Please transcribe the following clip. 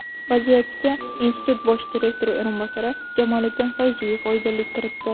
Vaziyatga institut bosh direktori o‘rinbosari Jamoliddin Fayziyev oydinlik kiritdi.